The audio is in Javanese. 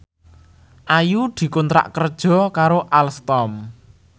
Ayu dikontrak kerja karo Alstom